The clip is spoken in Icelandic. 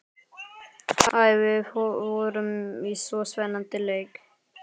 Æ, við vorum í svo spennandi leik.